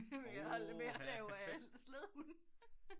De havde det med at lave slædehunde